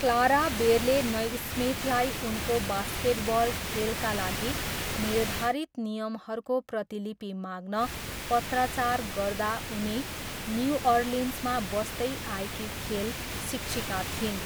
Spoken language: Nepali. क्लारा बेरले नैस्मिथलाई उनको बास्केटबल खेलका लागि निर्धारित नियमहरूको प्रतिलिपि माग्न पत्राचार गर्दा उनी न्युअर्लिन्समा बस्दै आएकी खेल शिक्षिका थिइन्।